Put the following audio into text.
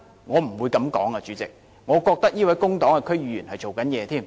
我反而覺得這位工黨的區議員是正在工作。